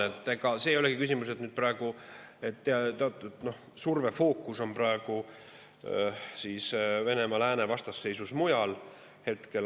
Et ega see ei olegi küsimus, et praegu teatud surve fookus on Venemaa-Lääne vastasseisus mujal.